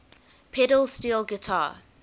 pedal steel guitar